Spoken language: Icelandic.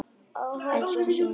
Elsku Sunna, trúðu mér!